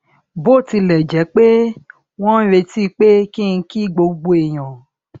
bó tilè jé pé wón ń retí pé kí n kí gbogbo èèyàn